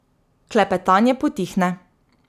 Klepetanje potihne.